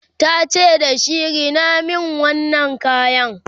tace da shi"Rina min wannan kayan!"